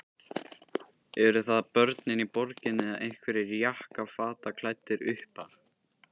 Eru það börnin í borginni eða einhverjir jakkafataklæddir uppar?